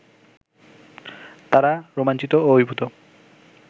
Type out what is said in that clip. তারা রোমাঞ্চিত ও অভিভূত